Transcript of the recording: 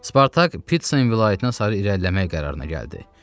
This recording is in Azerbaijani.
Spartak Pitsin vilayətinə sarı irəliləmək qərarına gəldi.